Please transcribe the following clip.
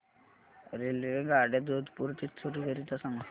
रेल्वेगाड्या जोधपुर ते चूरू करीता सांगा